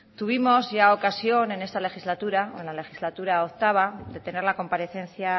tuvimos ya ocasión en esta legislatura o en la legislatura octavo de tener la comparecencia